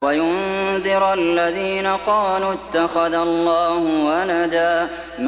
وَيُنذِرَ الَّذِينَ قَالُوا اتَّخَذَ اللَّهُ وَلَدًا